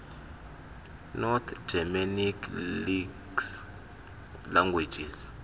north germanic languages